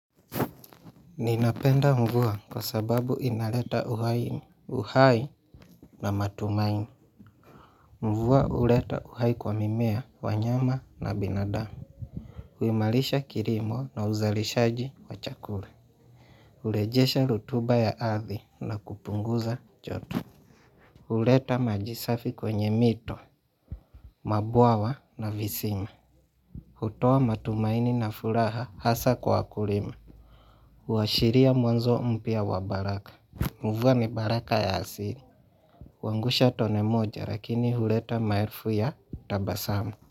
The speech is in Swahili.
Ninapenda mvua kwa sababu inaleta uhai, uhai na matumaini Mvua huleta uhai kwa mimea, wanyama na binadamu. Huimarisha kilimo na uzalishaji wa chakula. Hurejesha rotuba ya ardhi na kupunguza joto huleta maji safi kwenye mito, mabwawa na visima hutoa matumaini na furaha hasa kwa wakulima. Huashiria mwanzo mpya wa baraka. Mvua ni baraka ya asili. Huangusha tone moja lakini huleta maelfu ya tabasamu.